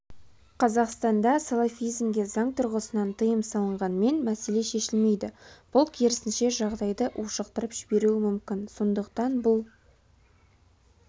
қазақстанда салафизмге заң тұрғысынан тыйым салынғанмен мәселе шешілмейді бұл керісінше жағдайды ушықтырып жіберуі мүмкін сондықтан бұл